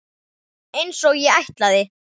Einsog ég ætlaði.